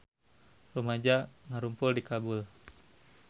Rumaja ngarumpul di Kabul